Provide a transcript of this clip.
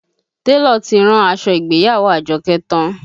Télọ̀ ti rán aṣọ ìgbéyàwó Àjọkẹ́ tán